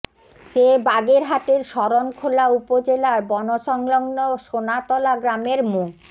সে বাগেরহাটের শরণখোলা উপজেলার বন সংলগ্ন সোনাতলা গ্রামের মো